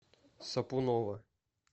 сапунова